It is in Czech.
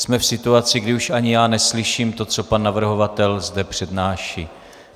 Jsme v situaci, kdy už ani já neslyším to, co pan navrhovatel zde přednáší.